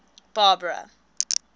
barbara